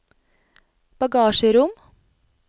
bagasjerom